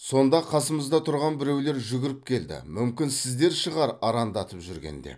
сонда қасымызда тұрған біреулер жүгіріп келді мүмкін сіздер шығар арандатып жүрген деп